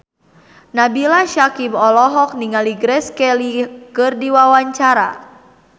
Nabila Syakieb olohok ningali Grace Kelly keur diwawancara